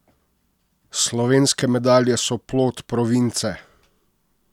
Slovenske medalje so plod province!